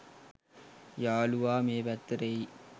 යාලුවා මේ පැත්තට එයි.